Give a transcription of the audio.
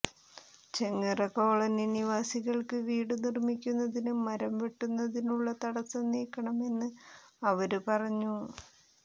Chengara colony നിവാസികള്ക്ക് വീടു നിര്മ്മിക്കുന്നതിന് മരം വെട്ടുന്നതിനുളള തടസം നീക്കണമെന്നും അവര് പറഞ്ഞു